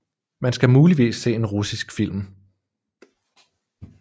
Man skal muligvis se en russisk film